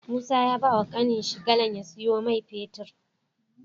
Musa ya bawa kanin shi galan ya siyo mai fetir